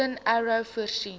golden arrow voorsien